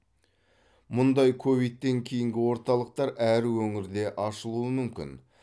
мұндай ковидтен кейінгі орталықтар әр өңірде ашылуы мүмкін